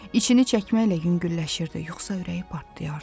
İçini çəkməklə yüngülləşirdi, yoxsa ürəyi partlayardı.